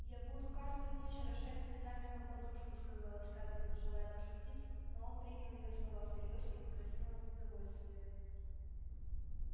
я буду каждую ночь орошать слезами мою подушку сказала скарлетт желая пошутить но он принял её слова всерьёз и покраснел от удовольствия